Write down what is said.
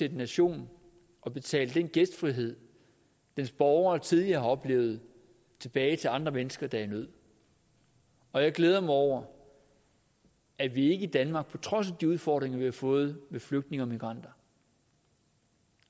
en nation at betale den gæstfrihed dens borgere tidligere har oplevet tilbage til andre mennesker der er i nød og jeg glæder mig over at vi ikke i danmark på trods af de udfordringer vi har fået med flygtninge og migranter